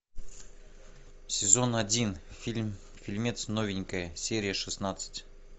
сезон один фильм фильмец новенькая серия шестнадцать